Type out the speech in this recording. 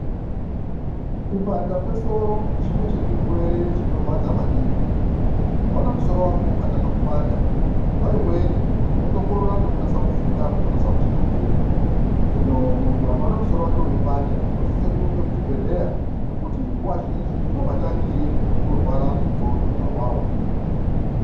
Kupanda kwesoro chimwe chezvirwere chinorwadza maningi. Ukaona musoro wako ukatanga kupanda nguwa imweni unotokorera nekufunga zvakanase kuti nakei. Hino muntu akaona musoro wake weipanda unosise kurumbe kuchibhedhleya nekuti nguwa zhinji ndiwo matangire ekurwara nendxondo awawo.